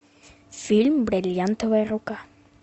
фильм бриллиантовая рука